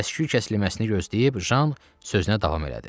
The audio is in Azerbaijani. Səsküy kəsilməsini gözləyib Jan sözünə davam elədi.